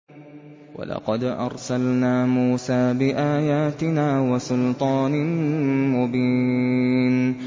وَلَقَدْ أَرْسَلْنَا مُوسَىٰ بِآيَاتِنَا وَسُلْطَانٍ مُّبِينٍ